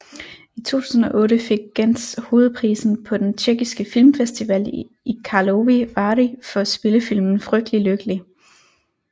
I 2008 fik Genz hovedprisen på den tjekkiske filmfestival i Karlovy Vary for spillefilmen Frygtelig lykkelig